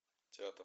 театр